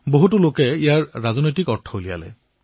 অধিকাংশ লোকে তাত ৰাজনৈতিক অৰ্থ বিচাৰি আছে